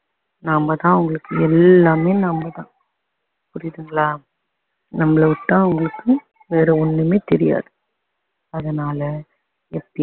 நாம தான் அவங்களுக்கு எல்லாமே நாம தான் புரியுதுங்களா நம்மள விட்டா அவங்களுக்கு வேற ஒண்ணுமே தெரியாது அதனால எப்பயுமே